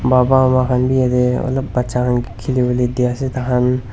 baba ama khan bi yatae olop bacha khan kae khili wolae diase tahan.